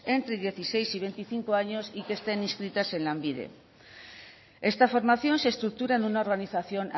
entre dieciséis y veinticinco años y que estén inscritas en lanbide esta formación se estructura en una organización